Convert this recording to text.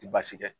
Ti baasi kɛ